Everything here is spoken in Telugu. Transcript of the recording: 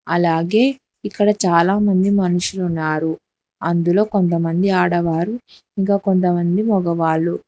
అలాగే ఇక్కడ చాలా మంది మనుషులు ఉన్నారు అందులో కొంతమంది ఆడవారు ఇంకా కొంతమంది మగవాళ్లు.